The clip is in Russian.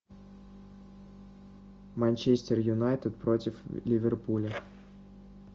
манчестер юнайтед против ливерпуля